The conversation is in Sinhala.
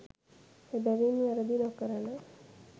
එබැවින් වැරැදි නොකරන